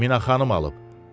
Minaxanım alıb.